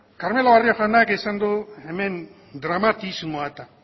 carmelo barrio jaunak esan du hemen dramatismoa eta